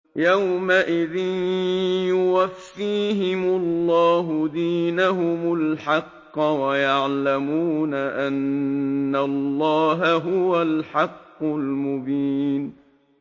يَوْمَئِذٍ يُوَفِّيهِمُ اللَّهُ دِينَهُمُ الْحَقَّ وَيَعْلَمُونَ أَنَّ اللَّهَ هُوَ الْحَقُّ الْمُبِينُ